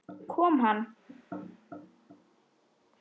Kom hann?